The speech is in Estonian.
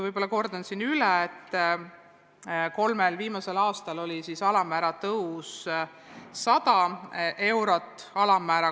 Ma kordan siin üle, et kolmel viimasel aastal tõusis see alammäär 100 eurot aastas.